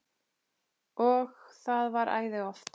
Og það var æði oft.